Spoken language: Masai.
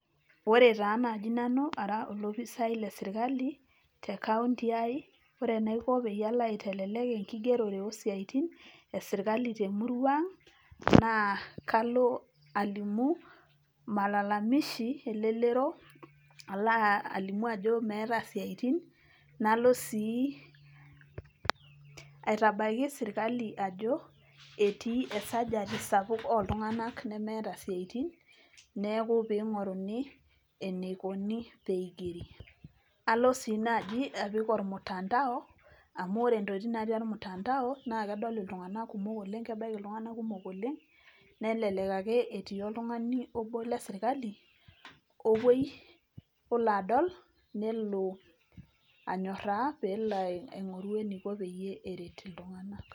Ore taa naaji nani ara olopisai le sirkali te kaunti ai ore enaiko peyie alo aitelelek enkigigerore oo siatin esirkali temurua aang', naa kalo alimu malalamishi elelero, alo alimu ajo meeta isiatin, nalo sii aitabaiki sirkali ajo etii esajati sapuk oo Iltunganak nemeeta isiatin neeku peyei einguruni eneikoni pee Eigeri. Alo sii naaji apik olmutandao amu ore entokitin natii olmutandao naa kedol iltunganak kumok oleng', kebaiki iltunganak kumok oleng' nelelek ake netii oltungani obo le sirkali ola adol nelo anyoraa nelo aingoru eneiko pee eret iltunganak.